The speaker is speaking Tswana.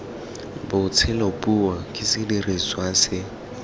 botshelo puo ke sediriswa se